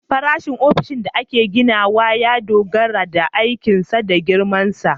Farashin ofishin da ake ginawa ya dogara da aikinsa da girmansa